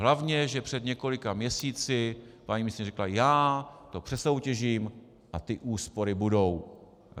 Hlavně že před několika měsíci paní ministryně řekla já to přesoutěžím a ty úspory budou.